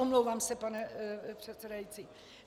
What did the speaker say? Omlouvám se, pane předsedající.